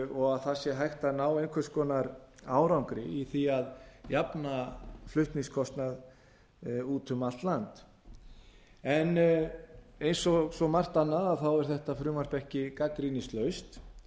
og að það sé hægt að ná einhvers konar árangri í því að jafna flutningskostnað úti um allt land eins og svo margt annað er þetta frumvarp ekki gagnrýnislaust